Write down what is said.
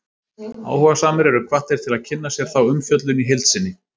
Áhugasamir eru hvattir til að kynna sér þá umfjöllun í heild sinni.